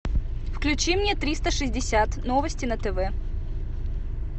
включи мне триста шестьдесят новости на тв